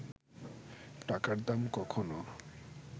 টাকার দাম কখনও